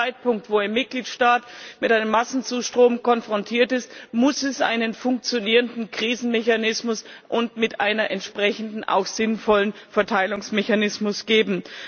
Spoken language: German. Ab dem Zeitpunkt, wo ein Mitgliedstaat mit einem Massenzustrom konfrontiert ist, muss es einen funktionierenden Krisenmechanismus und damit auch einen entsprechend sinnvollen Verteilungsmechanismus geben.